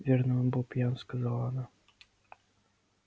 верно он был пьян сказала она